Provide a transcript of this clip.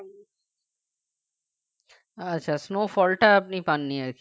আচ্ছা snowfall টা আপনি পাননি আর কি